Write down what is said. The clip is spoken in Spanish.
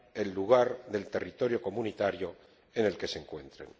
el lugar del territorio comunitario en el que se encuentren.